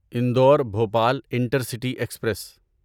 Indore Bhopal intercity express